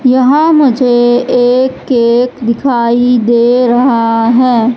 यहां मुझे एक केक दिखाई दे रहा है।